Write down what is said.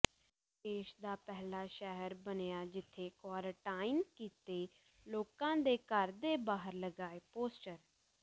ਦੇਸ਼ ਦਾ ਪਹਿਲਾ ਸ਼ਹਿਰ ਬਣਿਆ ਜਿਥੇ ਕੁਆਰੰਟਾਈਨ ਕੀਤੇ ਲੋਕਾਂ ਦੇ ਘਰ ਦੇ ਬਾਹਰ ਲਗਾਏ ਪੋਸਟਰ